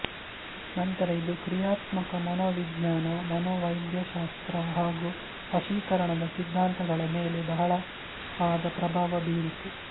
ನಂತರ ಇದು ಕ್ರಿಯಾತ್ಮಕ ಮನೋವಿಜ್ಞಾನ ಮನೋವೈದ್ಯಶಾಸ್ತ್ರ ಹಾಗೂ ವಶೀಕರಣದ ಸಿದ್ಧಾಂತಗಳ ಮೇಲೆ ಬಹಳವಾದ ಪ್ರಭಾವ ಬೀರಿತು